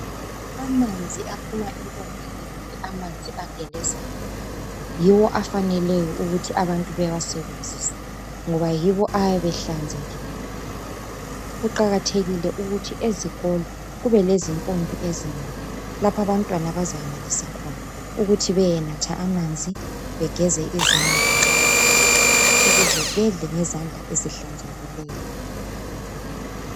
Amanzi aphuma empompini kumbe Amanzi agelezayo, yiwo afaneleyo ukuthi abantu bewasebenzise ngoba yiwo ayabe ehlanzekile. Kuqakathekile ukuthi ezikolo kube lezi mmpompi ezinengi lapho abantwana abazeyenelisa khona ukuthi bayenatha amanzi, begeze izandla nxa befisa ukuze bedle ngezandla ezihlanzekileyo.